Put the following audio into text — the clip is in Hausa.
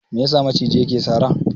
Me yasa maciji yake sara?